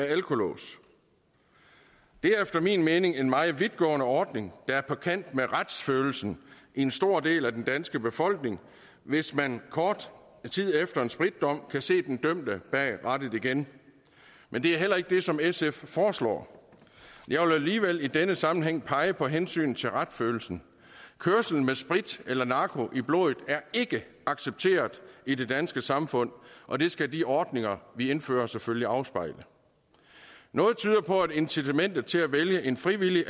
alkolås det er efter min mening en meget vidtgående ordning der er på kant med retsfølelsen i en stor del af den danske befolkning hvis man kort tid efter en spritdom kan se den dømte bag rattet igen men det er heller ikke det som sf foreslår jeg vil alligevel i denne sammenhæng pege på hensynet til retsfølelsen kørsel med sprit eller narko i blodet er ikke accepteret i det danske samfund og det skal de ordninger vi indfører selvfølgelig afspejle noget tyder på at incitamentet til at vælge en frivillig